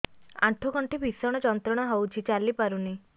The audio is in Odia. ଆଣ୍ଠୁ ଗଣ୍ଠି ଭିଷଣ ଯନ୍ତ୍ରଣା ହଉଛି ଚାଲି ପାରୁନି